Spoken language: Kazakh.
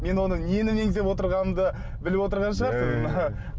мен оны нені меңзеп отырғанымды біліп отырған шығарсыз